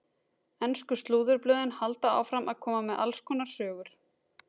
Ensku slúðurblöðin halda áfram að koma með alls konar sögur.